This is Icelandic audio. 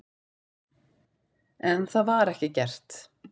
En það var ekki gert.